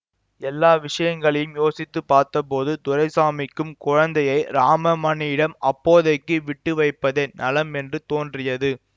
எல்லா விஷயங்களையும் யோசித்து பார்த்தபோது துரைசாமிக்கும் குழந்தையை ராமமணியிடம் அப்போதைக்கு விட்டுவைப்பதே நலம் என்று தோன்றியது